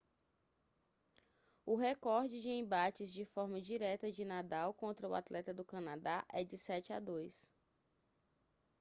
o recorde de embates de forma direta de nadal contra o atleta do canadá é de 7-2